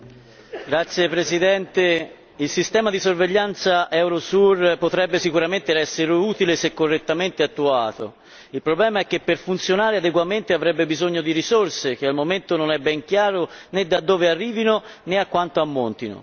Signor Presidente, onorevoli colleghi, il sistema di sorveglianza Eurosur potrebbe sicuramente essere utile se correttamente attuato. Il problema è che per funzionare adeguatamente avrebbe bisogno di risorse, che al momento non è ben chiaro né da dove arrivino né a quanto ammontino.